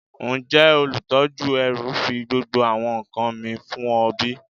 Njẹ olutọju ẹru fi gbogbo awọn nkan mi fun ọ bi?